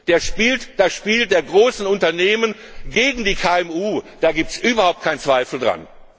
Der spielt das Spiel der großen Unternehmen gegen die KMU, da gibt es überhaupt keinen Zweifel dran!